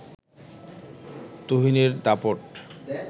তুহিনের দাপট